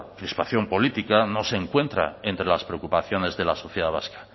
crispación política no se encuentra entre las preocupaciones de la sociedad vasca